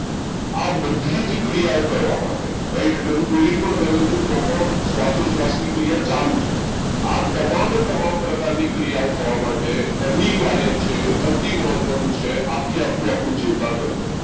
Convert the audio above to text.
આ બધી જ ક્રિયાઓ કરવા માટે હું બોલી પર રહ્યો છું તો પણ શ્વાસોશ્વાસની ક્રિયા ચાલુ છે આ તમામે તમામ પ્રકારની ક્રિયાઓ થવા માટે અનિવાર્ય છે અતિ મહત્વનું છે આખેઆખું આપ્યું ચેતાતંત્ર